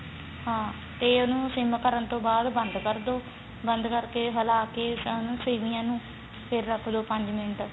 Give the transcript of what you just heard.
ਹਾਂ ਤੇ ਉਹਨੂੰ ਸਿਮ ਕਰਨ ਤੋਂ ਬਾਅਦ ਬੰਦ ਕਰਦੋ ਬੰਦ ਕਰਕੇ ਹਲਾ ਕੇ ਸੇਮੀਆਂ ਨੂੰ ਫੇਰ ਰੱਖ ਦੋ ਪੰਜ ਮਿੰਟ